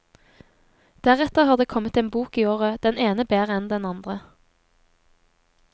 Deretter har det kommet en bok i året, den ene bedre enn den andre.